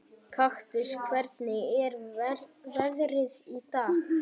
Kaktus, hvernig er veðrið í dag?